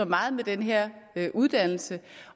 meget med den her uddannelse